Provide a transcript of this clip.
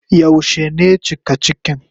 Yaushe ne cika cikin?